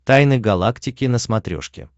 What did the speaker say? тайны галактики на смотрешке